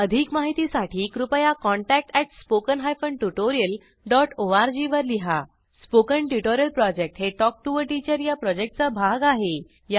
अधिक माहितीसाठी कृपया contact at spoken hyphen tutorial dot ORG वर लिहा स्पोकन ट्युटोरियल प्रॉजेक्ट हे टॉक टू टीचर या प्रॉजेक्टचा भाग आहे